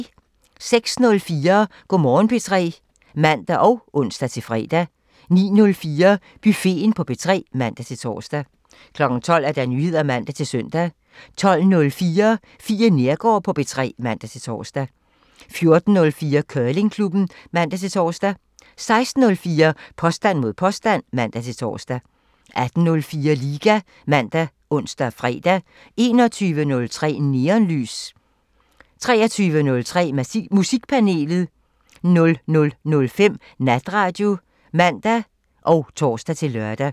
06:04: Go' Morgen P3 (man og ons-fre) 09:04: Buffeten på P3 (man-tor) 12:00: Nyheder (man-søn) 12:04: Fie Neergaard på P3 (man-tor) 14:04: Curlingklubben (man-tor) 16:04: Påstand mod påstand (man-tor) 18:04: Liga ( man, ons, fre) 21:03: Neonlys (man) 23:03: Musikpanelet (man) 00:05: Natradio (man og tor-lør)